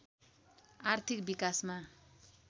आर्थिक विकासमा